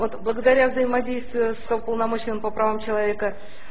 вот благодаря взаимодействию с уполномоченным по правам человека